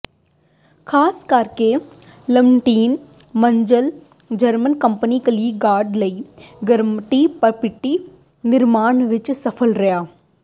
ਖਾਸ ਕਰਕੇ ਲਮਨੀਟ ਮੰਜ਼ਲ ਜਰਮਨ ਕੰਪਨੀ ਕਲਿੱਕ ਗਾਰਡ ਲਈ ਗਰਮਟੀ ਪਟੀਟੀ ਨਿਰਮਾਣ ਵਿੱਚ ਸਫ਼ਲ ਰਿਹਾ